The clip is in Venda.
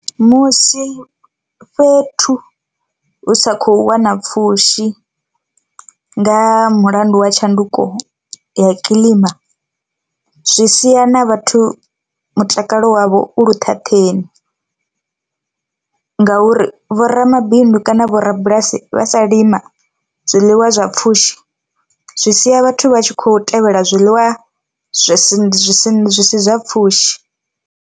Musi fhethu hu sa khou wana pfhushi nga mulandu wa tshanduko ya kiḽima zwi sia na vhathu mutakalo wavho u luṱhaṱheni, ngauri vho ramabindu kana vho rabulasi vha sa lima zwiḽiwa zwa pfhushi zwi sia vhathu vha tshi khou tevhela zwiḽiwa zwi zwisi zwi sina zwi si zwa pfhushi